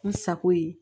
N sago ye